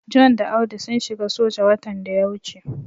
John da Audu sun shiga soja watan da ya wuce.